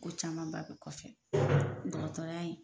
Ko camanba bɛ kɔfɛ dɔgɔtɔrɔya in